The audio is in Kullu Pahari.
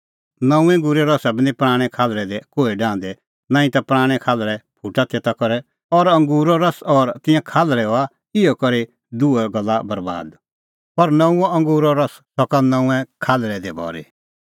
नऊंऐं अंगूरे रसा बी निं पराणैं खाल्हल़ै दी कोहै डाहंदै नांईं ता पराणैं खाल्हल़ै फुटा तेता करै और अंगूरो रस और तिंयां खाल्हल़ै हआ इहअ करै दुहै गल्ला बरैबाद पर नऊंअ अंगूरो रस सका नऊंऐं खाल्हल़ै दी भरी